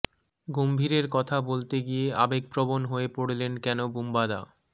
গম্ভীরের কথা বলতে গিয়ে আবেগপ্রবণ হয়ে পড়লেন কেন বুম্বাদা